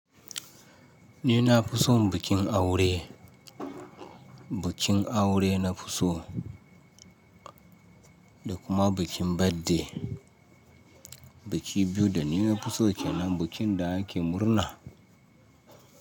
Ni na fi son bikin aure. Bikin aure na fi so da kuma bikin birthday. Biki biyu da ni na fi so kenan, bikin da ake murna.